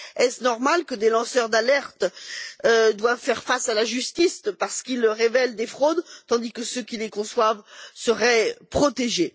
Est il normal que des lanceurs d'alerte doivent faire face à la justice parce qu'ils révèlent des fraudes, tandis que ceux qui les conçoivent seraient protégés?